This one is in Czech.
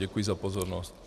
Děkuji za pozornost.